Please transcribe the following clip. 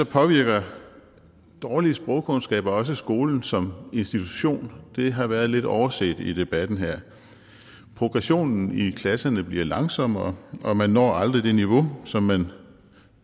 påvirker dårlige sprogkundskaber også skolen som institution og det har været lidt overset i debatten her progressionen i klasserne bliver langsommere og man når aldrig det niveau som man